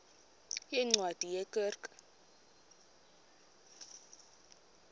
yeencwadi ye kerk